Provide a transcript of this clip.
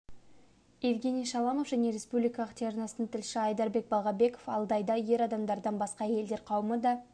евгений шаламов және республикалық телеарнасының тілшісі айдарбек балгабеков алдайда ер адамдардан басқа әйелдер қауымы да